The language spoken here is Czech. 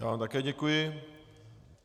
Já vám také děkuji.